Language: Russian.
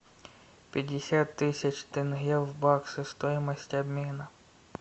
пятьдесят тысяч тенге в баксах стоимость обмена